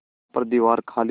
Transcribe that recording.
पर दीवार खाली थी